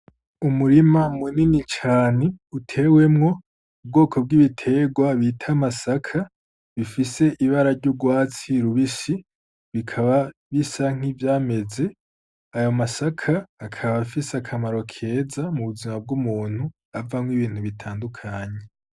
Umurima me nini cane utewemwo ubwoko bw'ibiterwa bita masaka bifise ibara ry'ugwatsi rubishi bikaba bisank' ivyameze ayo masaka akaba afise akamaro keza mu buzima bw'umuntu avamwo ibintu bitandukanyi.